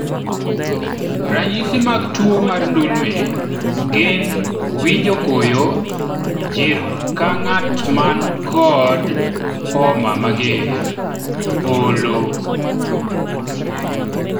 ranyisi mag tuo mar ndulme gin winjo koyo ,jir ka ng'at ma nikod homa mager, olo